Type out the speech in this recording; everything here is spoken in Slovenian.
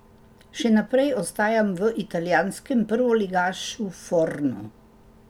Še naprej ostajam v italijanskem prvoligašu Fornu.